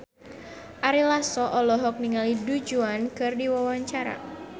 Ari Lasso olohok ningali Du Juan keur diwawancara